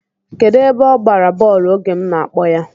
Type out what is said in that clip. Kedu ebe ọ gbara bọọlụ oge m na-akpọ ya?